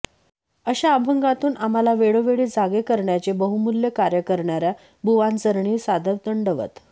अशा अभंगातून आम्हाला वेळोवेळी जागे करण्याचे बहुमूल्य कार्य करणार्या बुवांचरणी सादर दंडवत